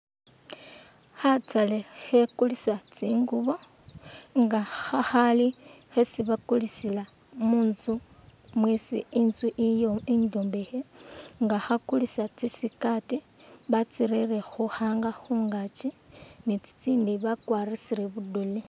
Khataale khakulisa tsinguubo nga khakhaali khesi bakulisila munzu mwisi inzui iyo inzombekhe nga khakulisa tsi skirt batsirere khu hanger khungaaki ni tsitsindi bakwarisile budole.